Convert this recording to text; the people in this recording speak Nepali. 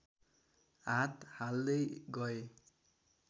हात हाल्दै गए